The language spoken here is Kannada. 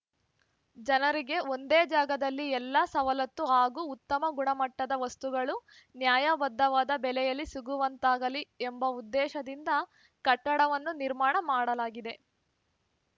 ಜನರಿಗೆ ಒಂದೇ ಜಾಗದಲ್ಲಿ ಎಲ್ಲ ಸವಲತ್ತು ಹಾಗೂ ಉತ್ತಮ ಗುಣಮಟ್ಟದ ವಸ್ತುಗಳು ನ್ಯಾಯಬದ್ಧವಾದ ಬೆಲೆಯಲ್ಲಿ ಸಿಗುವಂತಾಗಲೀ ಎಂಬ ಉದ್ದೇಶದಿಂದ ಕಟ್ಟಡವನ್ನು ನಿರ್ಮಾಣ ಮಾಡಲಾಗಿದೆ